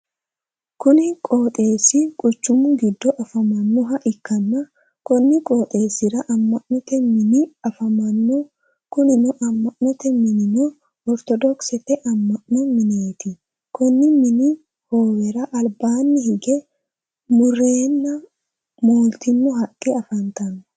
Kunni qooxeesi quchumu gido afamanoha ikanna konni qooxeesira ama'note minni afamano kunni ama'note minnino ortodokisete ama'no mineeti konni minni hoowera albaanni hige mureenna mooltino haqe afantano.